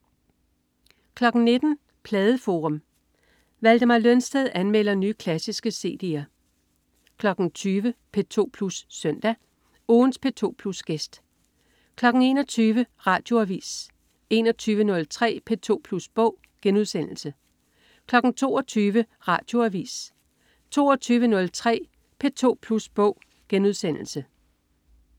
19.00 Pladeforum. Valdemar Lønsted anmelder nye, klassiske cd'er 20.00 P2 Plus Søndag. Ugens P2 Plus-gæst 21.00 Radioavis 21.03 P2 Plus Bog* 22.00 Radioavis 22.03 P2 Plus Bog*